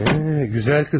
Hə, gözəl qız.